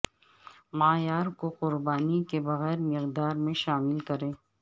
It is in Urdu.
معیار کو قربانی کے بغیر مقدار میں شامل کریں